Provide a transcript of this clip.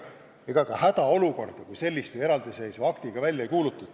Ega ka hädaolukorda eraldiseisva aktiga välja ei kuulututa.